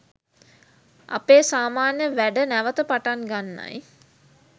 අපේ සාමාන්‍ය වැඩ නැවත පටන් ගන්නයි